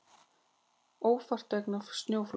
Ófært vegna snjóflóðs